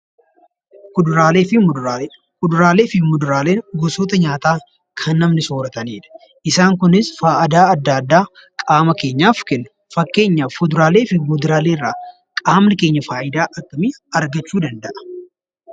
Kuduraalee fi muduraalee: Kuduraalee fi muduraaleen gosoota nyaataa kan namni soorataniidha. Isaan Kunis faayidaa addaa addaa qaama keenyaaf kennu. Fakkeenyaaf kuduraalee fi muduraalee irraa qaamni keenya faayidaa akkamii argachuu danda'a?